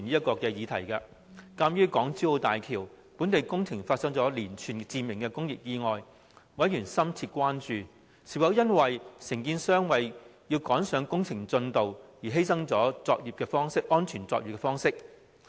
鑒於港珠澳大橋本地工程發生了連串致命工業意外，委員深切關注是否因為承建商為趕上工程進度而犧牲安全作業方式所致。